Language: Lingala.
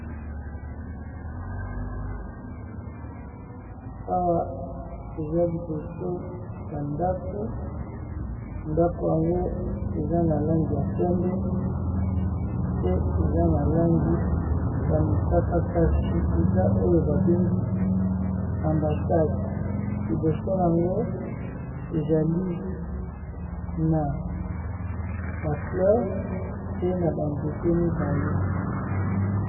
Awa eza liboso ya ndaku, ndaku yango eza na langi ya pembe, pe eza na langi ya mosaka. Kasi eza oyo ba bengi ambassade, liboso nango ezali na ba fleur pe na ba nzete mibale.